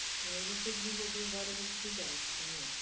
E aí você desenvolveu várias atividades também.